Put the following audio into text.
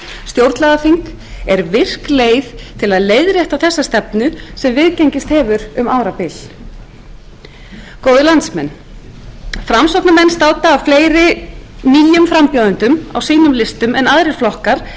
stjórnlagaþing er virk leið til að leiðrétta þessa stefnu sem viðgengist hefur um árabil góðir landsmenn framsóknarflokkurinn státar af fleiri nýjum frambjóðendum á sínum listum en aðrir flokkar